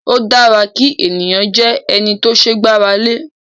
O dára kí ènìyàn jẹ́ ẹni tó ṣe gbára lé